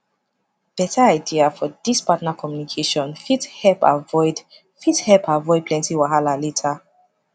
beta idea for this partner communication fit help avoid fit help avoid plenty wahala later